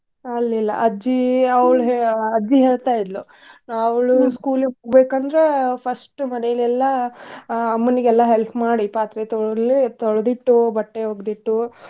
ಹಲ್ಲ್ ಇಲ್ಲಾ ಅಜ್ಜಿ ಅವ್ಳ್ ಹೇ~ ಅಜ್ಜಿ ಹೇಳ್ತಾ ಇದ್ಲು school ಇಗ್ ಹೋಗ್ಬೇಕಂದ್ರ first ಮನೇಲಿ ಎಲ್ಲಾ ಆ ಅಮ್ಮನಿಗೆಲ್ಲಾ help ಮಾಡಿ ಪಾತ್ರೆ ತೊಳ್ದ್ ಇಟ್ಟು, ಬಟ್ಟೆ ಒಗ್ದ್ ಇಟ್ಟು.